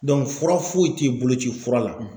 fura foyi te yen bolo ci fura la.